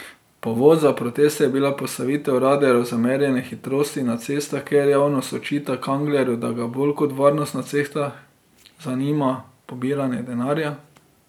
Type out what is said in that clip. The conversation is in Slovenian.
Povod za proteste je bila postavitev radarjev za merjenje hitrosti na cestah, kjer javnost očita Kanglerju, da ga bolj kot varnost na cestah zanima pobiranje denarja.